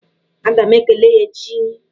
Aga m ekele ya echi.